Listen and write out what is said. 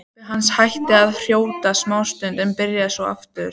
Pabbi hans hætti að hrjóta smástund en byrjaði svo aftur.